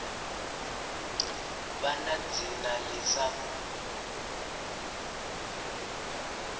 vha na dzina ḽi sa